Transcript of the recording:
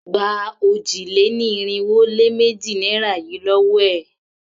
Gba òjì-lé-ní-irinwó-lé-méjì naira yìí lówó è!